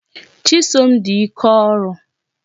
Chisom di ike ọrụ.